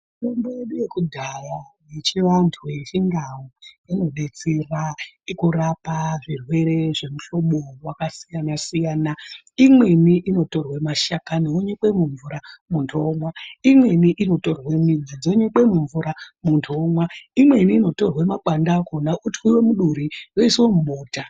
Mitombo yedu yekudhaya yechivantu yechindau inobetsera kurapa zvirwere zvemuhlobo vakasiyana-siyana. Imweni inotorwe mashakani onyikwe mumvura muntu omwa. Imweni inotorwe midzi dzonyikwa mumvura muntu omwa. Imweni inotorwa makwande akona oitwive muduri oiswe mubota.